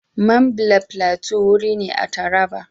Mambila Plateau wuri ne a Taraba.